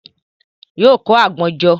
Yóò kó àgbọn jọ.